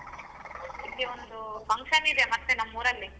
ಇಲ್ಲಿ ಒಂದು function ಇದೆ ಮತ್ತೆ ನಮ್ಮೂರಲ್ಲಿ.